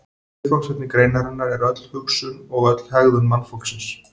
Viðfangsefni greinarinnar er öll hugsun og öll hegðun mannfólksins.